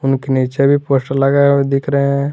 उनके नीचे भी पोस्टर लगे हुए दिख रहे हैं।